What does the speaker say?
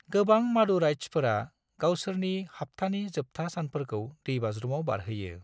गोबां मादुराइट्सफोरा गावसोरनि हाब्थानि जोबथा सानफोरखौ‌ दैबाज्रुमाव बारहोयो।